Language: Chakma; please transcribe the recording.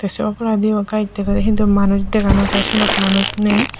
ai se oboladi yo gush dagajar hintu manush daga nojai senot manush ney.